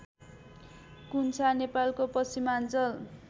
कुन्छा नेपालको पश्चिमाञ्चल